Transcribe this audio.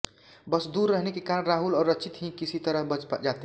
बस दूर रहने के कारण राहुल और रचित ही किसी तरह बच जाते हैं